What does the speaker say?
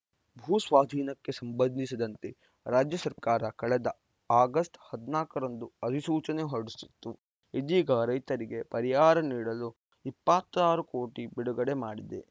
ಭೂ ಸ್ವಾಧೀನಕ್ಕೆ ಸಂಬಂಧಿಸಿದಂತೆ ರಾಜ್ಯ ಸರ್ಕಾರ ಕಳೆದ ಆಗಸ್ಟ್ ಹದಿನಾಲ್ಕು ರಂದು ಅಧಿಸೂಚನೆ ಹೊರಡಿಸಿತ್ತು ಇದೀಗ ರೈತರಿಗೆ ಪರಿಹಾರ ನೀಡಲು ಇಪ್ಪತ್ತ್ ಆರು ಕೋಟಿ ಬಿಡುಗಡೆ ಮಾಡಿದೆ